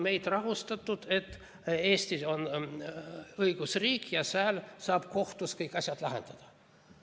Meid on rahustatud, et Eesti on õigusriik ja siin saab kohtus kõik asjad lahendatud.